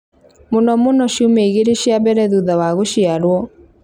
mũno mũno ciumia igĩrĩ cia mbere thutha wa gũciarwo.